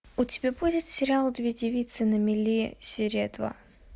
у тебя будет сериал две девицы на мели серия два